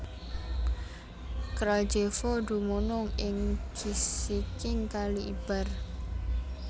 Kraljevo dumunung ing gisiking Kali Ibar